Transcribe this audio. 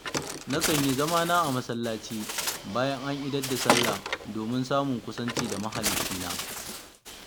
Na kan yi zamana a masallaci bayan an idar da sallah domin samun kusanci da mahaliccina.